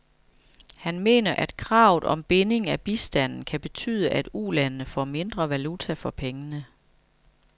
Han mener, at kravet om binding af bistanden kan betyde, at ulandene får mindre valuta for pengene.